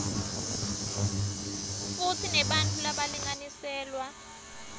futsi nebantfu labalinganiselwa